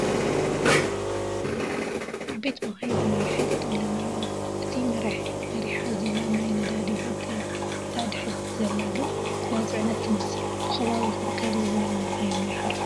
ዓበይቲ መካይን ተማሪሐን ጠጠው ኢለን ኣለዋ፡፡ እታ መሪሓ ዘላ ናይ ነዳዲ ቦጥ እያ፡፡ እታ ድሕረት ዘላ ግን ናይ ፅዕነት ትመስል፡፡ ብኸባቢኹም ከምዚ ዝበላ መካይን ዶ ይሓልፋ?